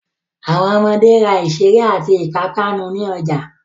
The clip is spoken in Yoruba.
Àwọn ọmọde ra ìṣeré àti ìpápánu ní ọjà.